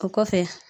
O kɔfɛ